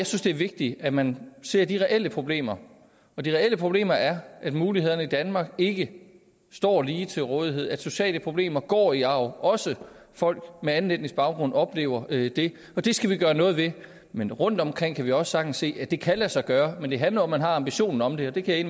synes det er vigtigt at man ser de reelle problemer og de reelle problemer er at mulighederne i danmark ikke står ligeligt til rådighed at sociale problemer går i arv også folk med anden etnisk baggrund oplever det og det skal vi gøre noget ved men rundtomkring kan vi også sagtens se at det kan lade sig gøre men det handler om at man har ambitionen om det og det kan jeg